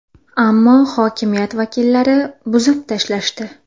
Ammo hokimiyat vakillari buzib tashlashdi.